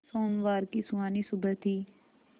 सोमवार की सुहानी सुबह थी